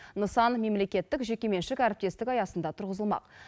нысан мемлекеттік жекеменшік әріптестік аясында тұрғызылмақ